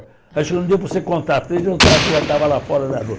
Acho que não deu para você contar, já estava lá fora na rua.